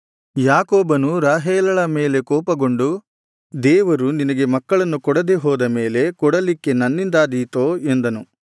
ಯಾಕೋಬನು ರಾಹೇಲಳ ಮೇಲೆ ಕೋಪಗೊಂಡು ದೇವರು ನಿನಗೆ ಮಕ್ಕಳನ್ನು ಕೊಡದೆ ಹೋದ ಮೇಲೆ ಕೊಡಲಿಕ್ಕೆ ನನ್ನಿಂದಾದೀತೋ ಎಂದನು